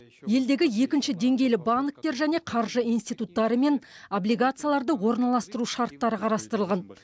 елдегі екінші деңгейлі банктер және қаржы институттарымен облигацияларды орналастыру шарттары қарастырылған